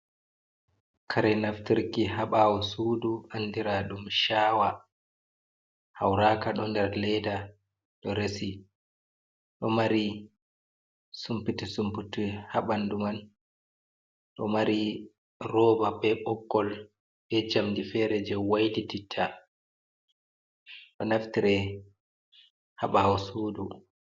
Kare naftirki ha ɓawo sudu andira ɗum chawa, hauraka ɗo ndar leda ɗo resi ɗo mari sunpute sunpute ha ɓanɗu man, ɗo mari roba be ɓogol be jamdi fere je waylitita ɗo naftire ha ɓawo sudu.